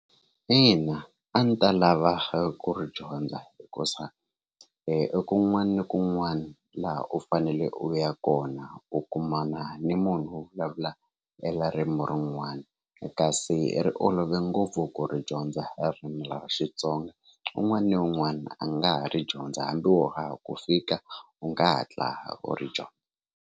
Ina a ni ta lava ku ri dyondza hikuza e kun'wana na kun'wana laha u fanele u ya kona u kumana ni munhu wo vulavula eririmi rin'wana kasi ri olove ngopfu ku ri dyondza ririmi ra Xitsonga un'wana na un'wana a nga ha ri dyondza hambi wo ha ku fika u nga hatla u ri dyondza.